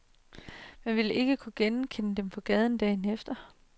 Man ville ikke kunne genkende dem på gaden dagen efter.